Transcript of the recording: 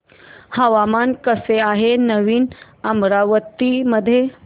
हवामान कसे आहे नवीन अमरावती मध्ये